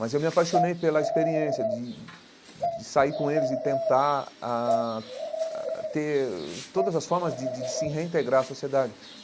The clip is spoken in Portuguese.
Mas eu me apaixonei pela experiência de de sair com eles e tentar ah ah ter todas as formas de de de se reintegrar à sociedade.